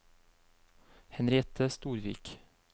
Henriette Storvik